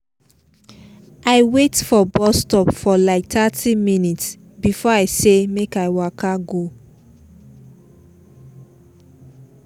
i wait for bus stop for like thirty minutes before i say make i just waka go